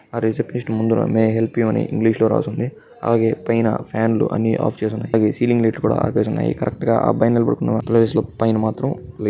ఆ రిసెప్ట్సిస్ట్ ముందట మీ హెల్ప్ యు అని రాసి ఇంగ్లీషు లో రాసి ఉంది. అలాగే పోయిన ఫ్యాన్లు అన్ని ఆఫ్ చేసి ఉన్నాయి సీలింగ్ ఆఫ్ చేసి ఉన్నాయి కరెక్ట్ గా ఆ అబ్బాయి నిల్చున్నా ప్లేస్ లో పైన మాత్రం --